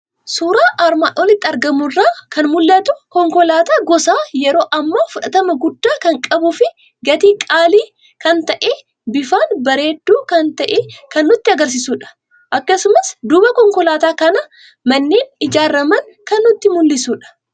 Suuraa armaan olitti argamu irraa kan mul'atu; konkolaata gosa yeroo ammaa fudhatama guddaa kan qabufi gatii qaalii kan ta'e, bifaan bareeddu kan ta'e kan nutti agarsiisudha. Akkasumas duuba konkolaataa kanaa manneen ijaaramaan kan nutti mul'isudha.